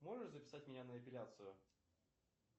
можешь записать меня на эпиляцию